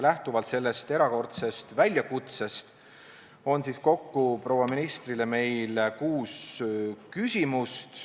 Lähtuvalt sellest erakordsest väljakutsest on meil proua ministrile kuus küsimust.